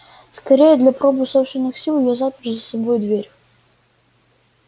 скорее для пробы собственных сил я запер за собой дверь